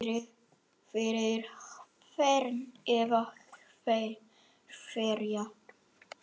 Fyrir hvern eða hverja?